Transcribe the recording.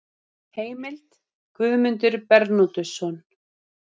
Heimild: Guðmundur Bernódusson.